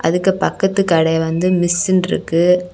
இதுக்கு பக்கத்து கடை வந்து மிஸ்ன்ருக்கு .